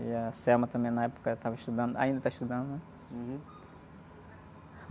E a também, na época, estava estudando. Ainda está estudando, né?